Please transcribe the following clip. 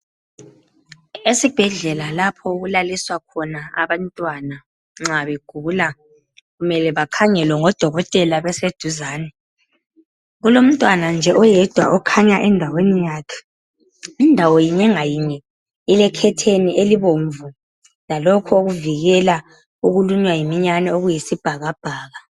Esibhedlela lapho okulaliswa khona abantwana nxa begula kumele bakhangelwe ngodokotela beseduzane. Kulomntwana nje oyedwa okhanya endaweni yakhe. Indawo yinye ngayinye ilekhetheni elibomvu lalokhu okuvikela ukulunywa yiminyane okuyisibhakabhaka.